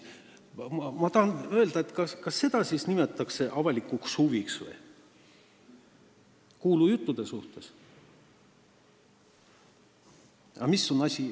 Ma tahan öelda, et kas seda siis nimetatakse avalikuks huviks – huvi kuulujuttude vastu.